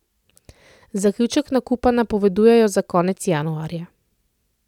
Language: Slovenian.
Zaključek nakupa napovedujejo za konec januarja.